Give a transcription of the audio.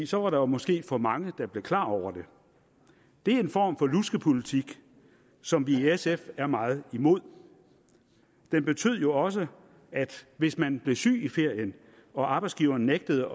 så var der måske for mange der blev klar over det det er en form for luskepolitik som vi i sf er meget imod den betød jo også at hvis man blev syg i ferien og arbejdsgiveren nægtede